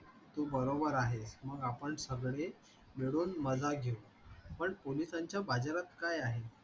तू बरोबर आहे मग आपण सगळे मिळून मजा घेऊ पण पोलिसांच्या बाजारात काय आहे